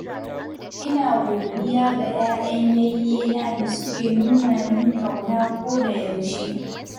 Ina godiya ga 'ya'yan yayyena da suke nuna min ƙauna kodayaushe.